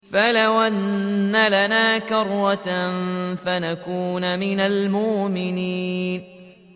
فَلَوْ أَنَّ لَنَا كَرَّةً فَنَكُونَ مِنَ الْمُؤْمِنِينَ